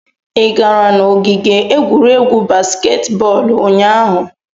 Ị gara n'ogige egwuregwu baskeet bọọlụ ụnyaahụ?